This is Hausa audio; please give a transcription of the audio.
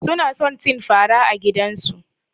Suna son cin fara a gidansu.